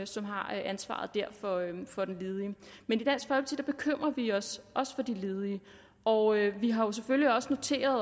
som har ansvaret for den ledige men i bekymrer vi os også for de ledige og vi har selvfølgelig noteret